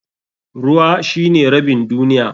Ruwa shine rabin duniya.